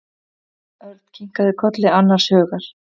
Örn kinkaði kolli annars hugar.